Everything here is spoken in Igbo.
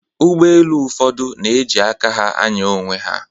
Ụgbọelu ụfọdụ na-eji aka ha ànyá onwe ha